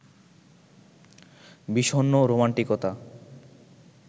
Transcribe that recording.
বিষণ্ন রোমান্টিকতা